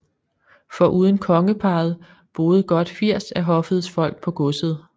Foruden kongeparret boede godt 80 af hoffets folk på godset